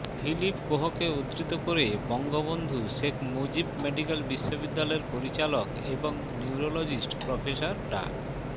Philip কোহকে উদ্ধৃত করে বঙ্গবন্ধু শেখ মুজিব মেডিকেল বিশ্ববিদ্যালয়ের পরিচালক এবং নিউরোলজিস্ট প্রফেসর ডা